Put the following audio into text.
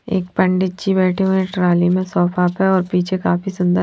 एक पंडित जी बैठे हुए हैं ट्राली में सोफा पे और पीछे काफी सुंदर--